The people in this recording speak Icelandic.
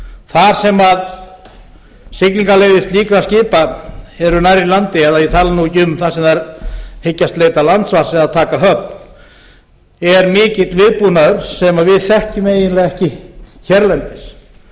þar sem siglingaleiðir slíkra skipa eru nærri landi eða ég tala nú ekki um þar sem þau hyggjast leita landvars eða taka höfn er mikill viðbúnaður sem við þekkjum eiginlega ekki hérlendis